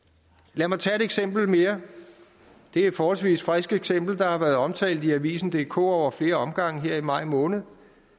lad mig tage et eksempel mere det er et forholdsvis friskt eksempel der har været omtalt i avisendk over flere omgange her i maj måned